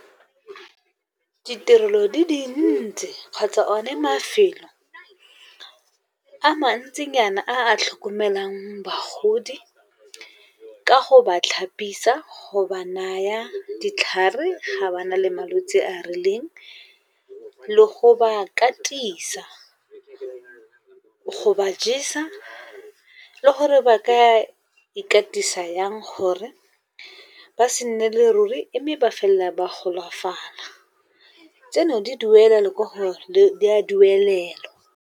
Ditirelo di dintsi kgotsa o ne mafelo a mantsinyana a tlhokomelang bagodi, ka go ba tlhapisa, go ba naya ditlhare ga ba na le malwetse a a rileng. Le go ba katisa go ba jesa le gore ba ka ikatisa yang gore ba se nnele ruri mme ba felela ba golafala, tseno di a duelelwa.